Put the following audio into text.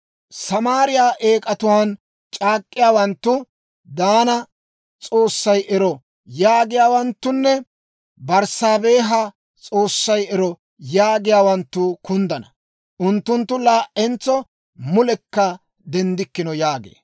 Samaariyaa eek'atuwaan c'aak'k'iyaawanttu, ‹Daana s'oossay ero!› yaagiyaawanttunne, ‹Berssaabeeha s'oossay ero› yaagiyaawanttu kunddana. Unttunttu laa"entso mulekka denddikkino» yaagee.